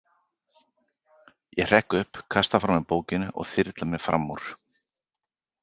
Ég hrekk upp, kasta frá mér bókinni og þyrla mér fram úr!